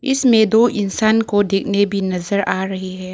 इसमें दो इंसान को देखने भी नजर आ रही है।